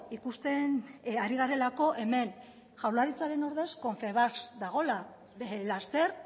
ikusten ari garelako hemen jaurlaritzaren ordez confebasque dagoela laster